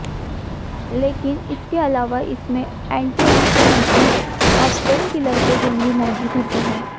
लेकिन इसके अलावा इसमें एंटी इनफ्लैमेटरी और पेन किलर के गुण भी मौजूद होते हैं